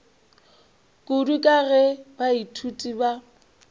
kudu ka ge baithuti ba